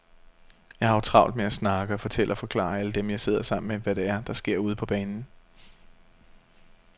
Jeg har jo travlt med at snakke og fortælle og forklare alle dem, jeg sidder sammen med, hvad det er, der sker ude på banen.